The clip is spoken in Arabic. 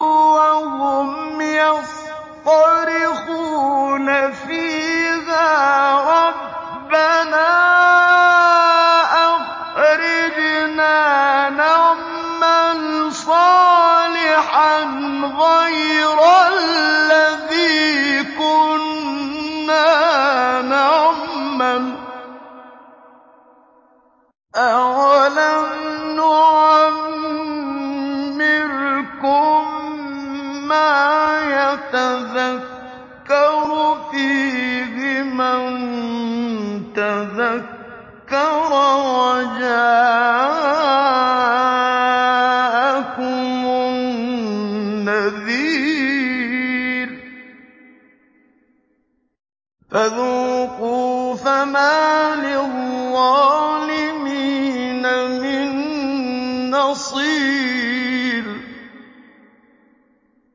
وَهُمْ يَصْطَرِخُونَ فِيهَا رَبَّنَا أَخْرِجْنَا نَعْمَلْ صَالِحًا غَيْرَ الَّذِي كُنَّا نَعْمَلُ ۚ أَوَلَمْ نُعَمِّرْكُم مَّا يَتَذَكَّرُ فِيهِ مَن تَذَكَّرَ وَجَاءَكُمُ النَّذِيرُ ۖ فَذُوقُوا فَمَا لِلظَّالِمِينَ مِن نَّصِيرٍ